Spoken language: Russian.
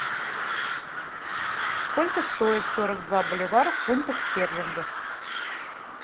сколько стоит сорок два боливара в фунтах стерлингов